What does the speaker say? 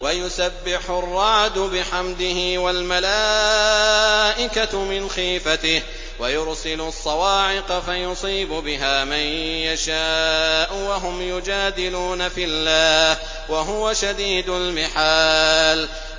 وَيُسَبِّحُ الرَّعْدُ بِحَمْدِهِ وَالْمَلَائِكَةُ مِنْ خِيفَتِهِ وَيُرْسِلُ الصَّوَاعِقَ فَيُصِيبُ بِهَا مَن يَشَاءُ وَهُمْ يُجَادِلُونَ فِي اللَّهِ وَهُوَ شَدِيدُ الْمِحَالِ